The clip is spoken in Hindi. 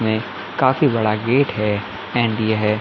ऐं काफी बड़ा गेट है एंड यह --